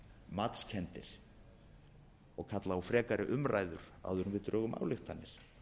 matskenndir og kalla á frekari umræður áður en við drögum ályktanir